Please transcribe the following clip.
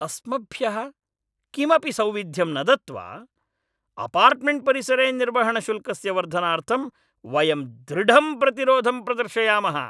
अस्मभ्यः किमपि सौविध्यं न दत्त्वा, अपार्टमेण्ट्परिसरे निर्वहणशुल्कस्य वर्धनार्थं वयं दृढं प्रतिरोधं प्रदर्शयामः।